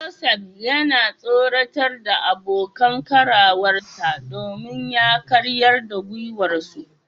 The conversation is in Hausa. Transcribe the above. Joseph yana tsoratar da abokan karawarsa domin ya karyar da dagewarsu.